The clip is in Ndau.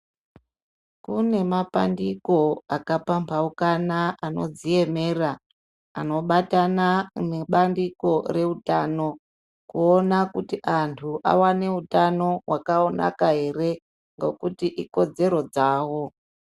Kune mapandiko akapambaukana anodziemera anobatana nebandiko rehutano kuona kuti antu awane hutano hwakanaka ere nekuti ikodzero dzawo.